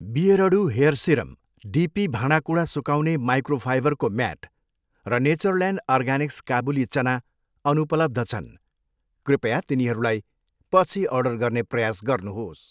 बियरडु hair serum, DP भाँडाकुँडा सुकाउने माइक्रोफाइबरको म्याट र नेचरल्यान्ड अर्गानिक्स काबुली चना अनुपलब्ध छन्, कृपया तिनीहरूलाई पछि अर्डर गर्ने प्रयास गर्नुहोस्।